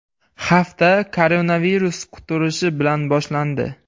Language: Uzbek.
Hafta koronavirus quturishi bilan boshlandi.